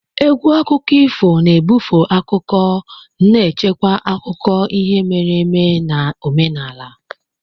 Égwù akụkọ ifo na ebufe akụkọ na-echekwa akụkọ ihe mere eme na omenala.